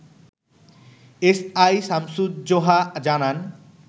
SI Shamsuzzoha জানান